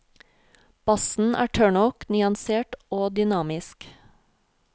Bassen er tørr nok, nyansert og dynamisk.